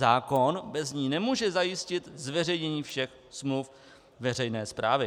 Zákon bez ní nemůže zajistit zveřejnění všech smluv veřejné správy.